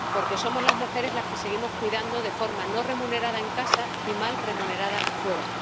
Porque somos las mujeres las que seguimos cuidando de forma no remunerada en casa y mal remunerada fuera.